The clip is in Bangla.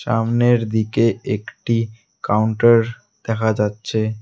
সামনের দিকে একটি কাউন্টার দেখা যাচ্ছে।